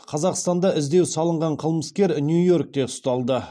қазақстанда іздеу салынған қылмыскер нью йоркте ұсталды